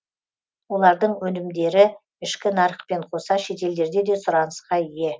олардың өнімдері ішкі нарықпен қоса шетелдерде де сұранысқа ие